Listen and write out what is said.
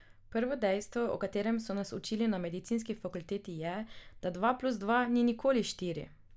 Prvo dejstvo, o katerem so nas učili na medicinski fakulteti je, da dva plus dva ni nikoli štiri.